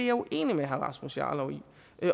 er uenig med herre rasmus jarlov i